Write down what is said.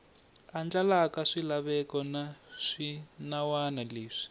andlalaka swilaveko na swinawana leswi